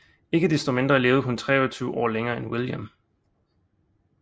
Ikke desto mindre levede hun 23 år længere end William